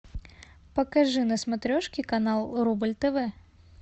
покажи на смотрешке канал рубль тв